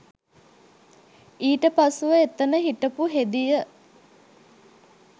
ඊට පසුව එතන හිටපු හෙදිය